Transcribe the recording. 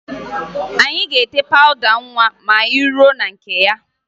Anyị ga-ete pawụda nwa ma anyị ruo na nke ya